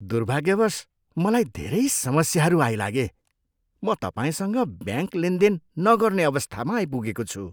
दुर्भाग्यवश मलाई धेरै समस्याहरू आइलागे म तपाईँसँग ब्याङ्क लेनदेन नगर्ने अवस्थामा आइपुगेको छु।